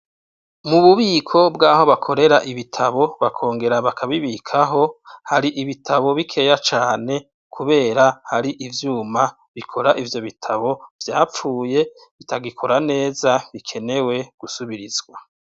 Mububiko bwaho bakorera ibitabo, bakongera bakabibikaho, hari ibitabo bikeya cane kubera hari ivyuma bikora ivyo bitabo vyapfuye bitagikora neza bikenewe gusubirizwa.